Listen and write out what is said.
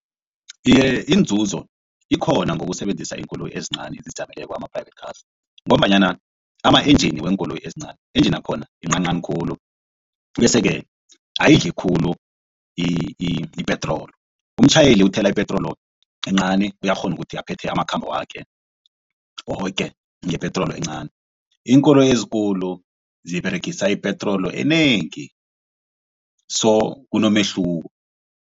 Iye, inzuzo ikhona ngokusebenzisa iinkoloyi ezincani ezizijameleko ama-private cars ngombanyana ama-engine weenkoloyi ezincani engine akhona yincancani khulu bese-ke ayidli khulu ipetroli umtjhayeli uthela ipetroli encani uyakghona ukuthi aphethe amakhambo wakhe woke ngepetroli encani iinkoloyi ezikulu ziberegisa ipetroli enengi so kunomehluko.